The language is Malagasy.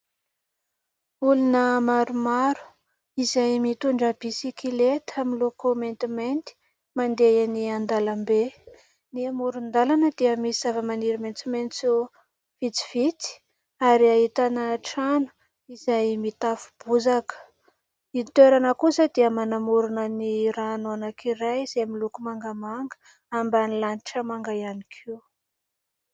Olona maromaro izay mitondra bisikileta miloko maintimainty mandeha eny an-dalambe ; ny moron-dalana dia misy zavamaniry maitsomaitso vitsivitsy ary ahitana trano izay mitafo bozaka. Ny toerana kosa dia manamorona ny rano anankiray izay miloko mangamanga ambany lanitra manga ihany koa.